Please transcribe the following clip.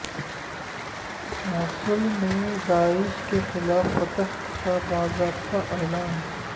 موصل میں داعش کے خلاف فتح کا باضابطہ اعلان